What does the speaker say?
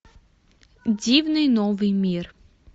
дивный новый мир